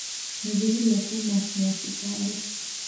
Kĩanjĩrĩria Kuna yacumbarĩ